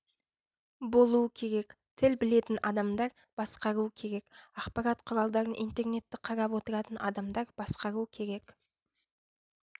болу керек тіл білетін адамдар басқару керек ақпарат құралдарын интернетті қарап отыратын адамдар басқару керек